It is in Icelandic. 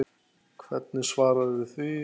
Hvernig svararðu því?